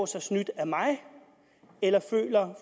sig snydt af mig eller føler